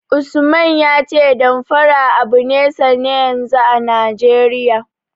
Usman ya ce Damfara abu ne sanne yanzu a Najeriya.